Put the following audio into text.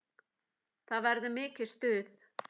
Það verður mikið stuð.